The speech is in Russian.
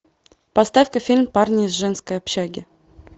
поставь ка фильм парни из женской общаги